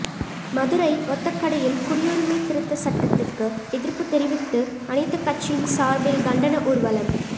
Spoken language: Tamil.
மதுரை ஒத்தக்கடையில் குடியுரிமை திருத்தச் சட்டத்துக்கு எதிா்ப்புத் தெரிவித்து அனைத்துக் கட்சியின் சாா்பில் கண்டன ஊா்வலம்